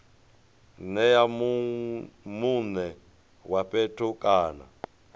nea mune wa fhethu kana